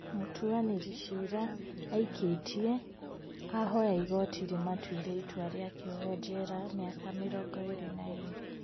Mũtuanĩri cira aikĩtie ahoya igoti rĩmaatuire itua rĩa kĩoho njera mĩaka mĩrongo ĩĩrĩ na ĩĩrĩ